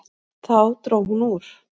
Þá dró hún úr.